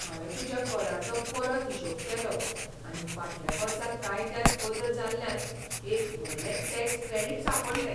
हांवें तुज्या कराचो परत हिशोब केलो आनी फाटल्या वर्सा कायद्यांत बदल जाल्ल्यान एक व्हडलें टॅक्स क्रेडिट सांपडलें.